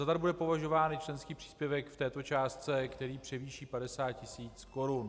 Za dar bude považován i členský příspěvek v této částce, který převýší 50 tisíc korun.